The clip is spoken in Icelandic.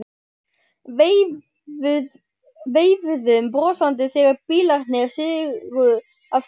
Veifuðum brosandi þegar bílarnir sigu af stað.